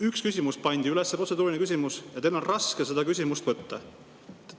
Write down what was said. Üks protseduuriline küsimus pandi üles, ja teil oli raske seda küsimust võtta!